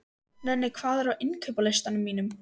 Nenni, hvað er á innkaupalistanum mínum?